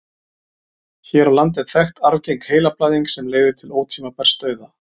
hér á landi er þekkt arfgeng heilablæðing sem leiðir til ótímabærs dauða